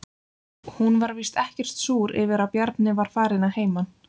Hún var víst ekkert súr yfir að Bjarni var farinn að heiman.